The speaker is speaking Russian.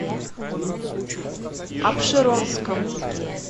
апшеронском